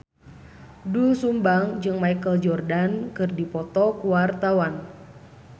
Doel Sumbang jeung Michael Jordan keur dipoto ku wartawan